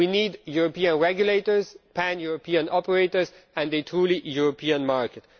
We need European regulators, pan European operators and a truly Europe market.